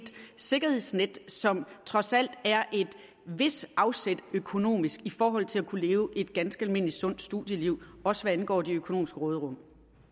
sikkerhedsnet som trods alt er et vist afsæt økonomisk i forhold til at kunne leve et ganske almindeligt sundt studieliv også hvad angår det økonomiske råderum